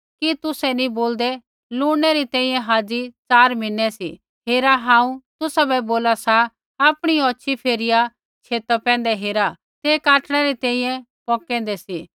कि तुसै नी बोलदै लुणने री तैंईंयैं हाज़ी च़ार मीहने सी हेरा हांऊँ तुसाबै बोला सा आपणी औछ़ी फेरिया छेता पैंधै हेरा कि तेआ काटणै री तैंईंयैं पोकेंदे सी